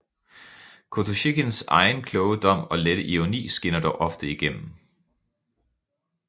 Kotosjikhins egen kloge dom og lette ironi skinner dog ofte igennem